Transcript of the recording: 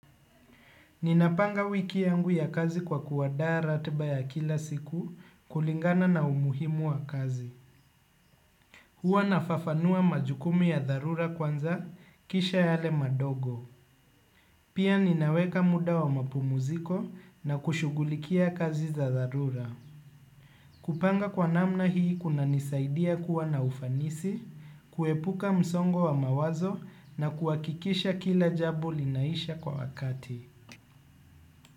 Ninapanga wiki yangu ya kazi kwa kuandaa ratiba ya kila siku kulingana na umuhimu wa kazi. Huwa nafafanua majukumu ya dharura kwanza kisha yale madogo. Pia ninaweka muda wa mapumziko na kushughulikia kazi za dharura. Kupanga kwa namna hii kunanisaidia kuwa na ufanisi, kuepuka msongo wa mawazo na kuhakikisha kila jambo linaisha kwa wakati.